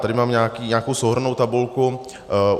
Tady mám nějakou souhrnnou tabulku .